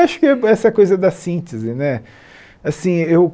Acho que é essa coisa da síntese né assim eu